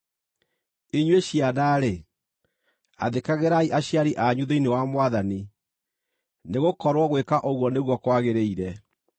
Inyuĩ ciana-rĩ, athĩkagĩrai aciari anyu thĩinĩ wa Mwathani, nĩgũkorwo gwĩka ũguo nĩguo kwagĩrĩire.